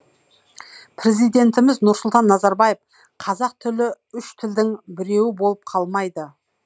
президентіміз нұрсұлтан назарбаев қазақ тілі үш тілдің біреуі болып қалмайды